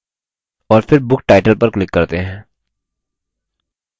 और फिर book title पर click करते हैं